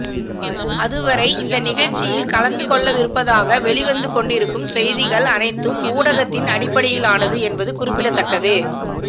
அதுவரை இந்த நிகழ்ச்சியில் கலந்து கொள்ளவிருப்பதாக வெளிவந்து கொண்டிருக்கும் செய்திகள் அனைத்தும் ஊகத்தின் அடிப்படையிலானது என்பது குறிப்பிடத்தக்கது